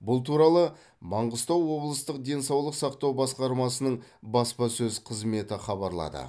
бұл туралы маңғыстау облыстық денсаулық сақтау басқармасының баспасөз қызметі хабарлады